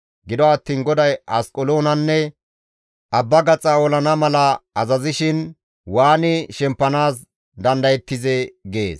Gido attiin GODAY Asqeloonanne abba gaxa olana mala azazishin waani shemppanaas dandayettizee?» gees.